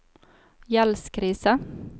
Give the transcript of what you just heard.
gjeldskrise